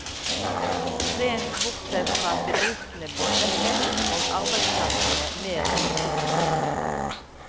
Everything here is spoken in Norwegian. Rent bortsett fra at bedriftene blir svekket, og arbeidsplassene mer usikre.